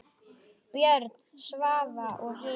Björn, Svava og Hildur.